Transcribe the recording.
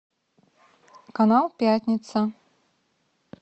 канал пятница